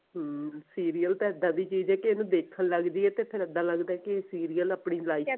ਹਮ serial ਤਾਂ ਇੱਦਾਂ ਦੀ ਚੀਜ਼ ਐ ਕਿ ਇਹਨੂੰ ਦੇਖਣ ਲੱਗ ਜਿਏ ਤਾਂ ਫਿਰ ਇਦਾਂ ਲੱਗਦਾ ਕਿ serial ਆਪਣੀ life